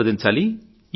సంప్రదించాలి